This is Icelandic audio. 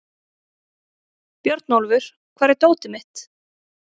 Björnólfur, hvar er dótið mitt?